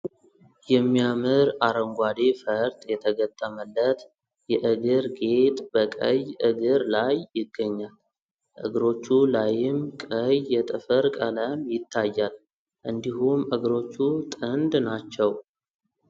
የሚያምር አረንጓዴ ፈርጥ የተገጠመለት የእግር ጌጥ በቀይ እግር ላይ ይገኛል ። እግሮቹ ላይም ቀይ የጥፍር ቀለም ይታያል እንዲሁም እግሮቹ ጥንድ ናቸው ።